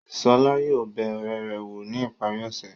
Ṣọlá yóò bẹ ọ̀rẹ́ rẹ̀ wò ní ìparí ọ̀sẹ̀.